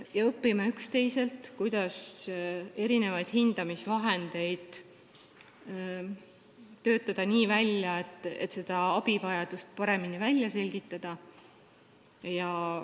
Me õpime üksteiselt, kuidas hindamisvahendeid töötada välja nii, et abivajadust saaks paremini välja selgitada.